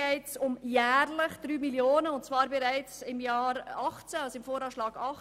Es geht um 3 Mio. Franken pro Jahr, und zwar bereits für den VA 2018.